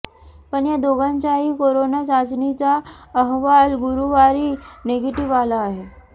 पण या दोघांचाही कोरोना चाचणीचा अहवाल गुरुवारी निगेटिव्ह आला आहे